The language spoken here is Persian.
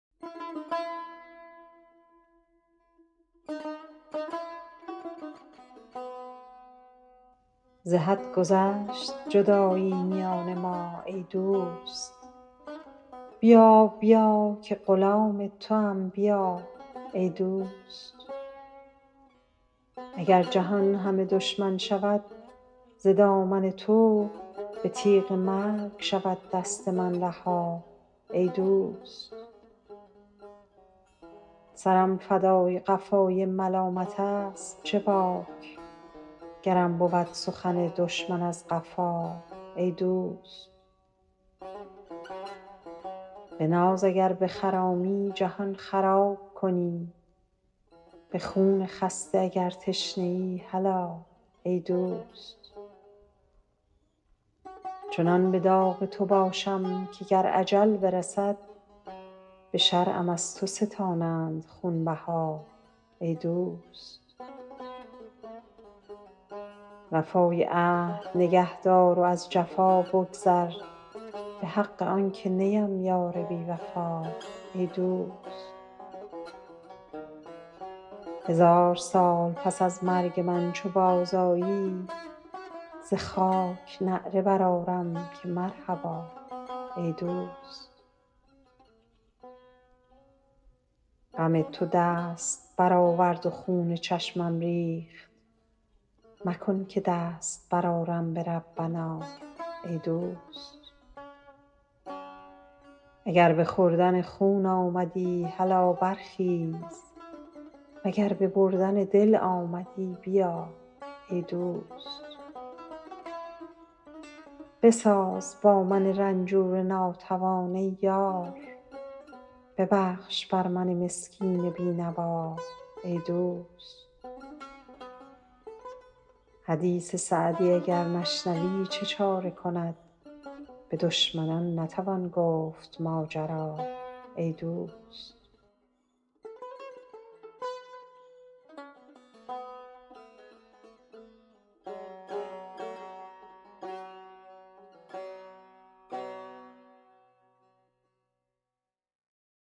ز حد گذشت جدایی میان ما ای دوست بیا بیا که غلام توام بیا ای دوست اگر جهان همه دشمن شود ز دامن تو به تیغ مرگ شود دست من رها ای دوست سرم فدای قفای ملامتست چه باک گرم بود سخن دشمن از قفا ای دوست به ناز اگر بخرامی جهان خراب کنی به خون خسته اگر تشنه ای هلا ای دوست چنان به داغ تو باشم که گر اجل برسد به شرعم از تو ستانند خونبها ای دوست وفای عهد نگه دار و از جفا بگذر به حق آن که نیم یار بی وفا ای دوست هزار سال پس از مرگ من چو بازآیی ز خاک نعره برآرم که مرحبا ای دوست غم تو دست برآورد و خون چشمم ریخت مکن که دست برآرم به ربنا ای دوست اگر به خوردن خون آمدی هلا برخیز و گر به بردن دل آمدی بیا ای دوست بساز با من رنجور ناتوان ای یار ببخش بر من مسکین بی نوا ای دوست حدیث سعدی اگر نشنوی چه چاره کند به دشمنان نتوان گفت ماجرا ای دوست